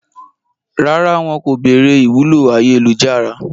Rárá, wọn kò béèrè ìwúlò ayélujára